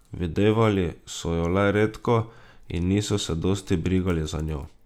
Videvali so jo le redko in niso se dosti brigali za njo.